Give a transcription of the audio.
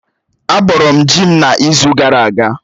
Á bọrọ m ji m n'izu gara aga